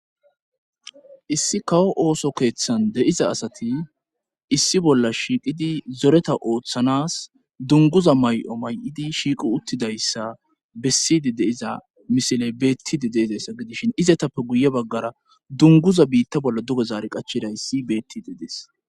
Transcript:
Issi kawo ooso keeththan de'iza asati issi bolla shiiqidi zoreta ooththanas dunguza may7o may7idi shiiqu uttidayssa bessidi deiza misile beettidi deizayssa gidishin izatappe guye baggara dunguza biitta bolla duge zaare qachidayssi beettide dees